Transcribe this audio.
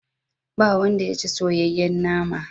Ba wanda ya ci soyayyen nama.